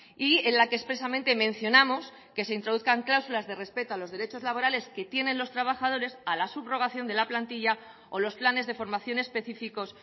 y en la que expresamente mencionamos que se introduzcan cláusulas de respeto a los derechos laborales que tienen los trabajadores a la subrogación de la plantilla o los planes de formación específicos